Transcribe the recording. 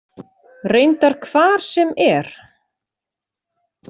Reyndar hvar sem er.